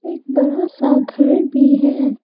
एक बड़ा सा घर भी है।